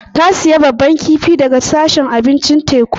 Ta sayi babban kifi daga sashin abincin teku.